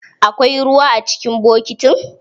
Akwai ruwa a cikin bokitin?